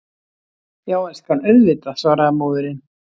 Já, elskan, auðvitað, svaraði móðirin.